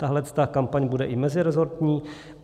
Tahleta kampaň bude i meziresortní.